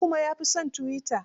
Habu kuma ya fi son tuwita.